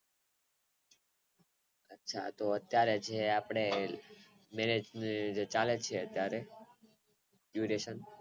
અચ્છા તો અત્યારે જે આપણે Marriage નું ચાલે છે અત્યારે juireson